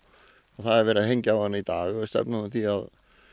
það er verið að hengja á hana í dag og við stefnum að því að